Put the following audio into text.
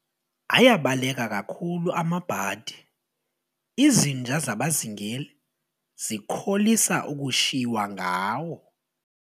Ayabaleka kakhulu amabhadi, izinja zabazingeli zikholisa ukushiywa ngawo.